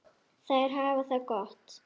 Þær hafa það gott.